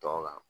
Tɔn kan